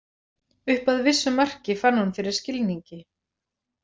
Upp að vissu marki fann hún fyrir skilningi.